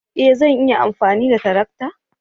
E! Zan iya amfani da tarakta.